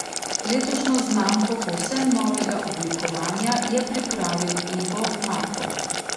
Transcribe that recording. Letošnjo znamko povsem novega oblikovanja je pripravil Ivo Marko.